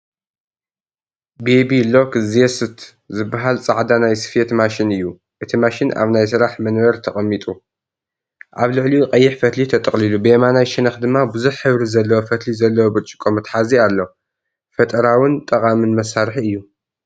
'ቤቢ ሎክ ዜስት' ዝበሃል ጻዕዳ ናይ ስፌት ማሽን እዩ። እቲ ማሽን ኣብ ናይ ስራሕ መንበር ተቐሚጡ፡ ኣብ ልዕሊኡ ቀይሕ ፈትሊ ተጠቕሊሉ፡ ብየማናይ ሸነኽ ድማ ብዙሕ ሕብሪ ዘለዎ ፈትሊ ዘለዎ ብርጭቆ መትሓዚ ኣሎ። ፈጠራውን ጠቓምን መሳርሒ እዩ፡፡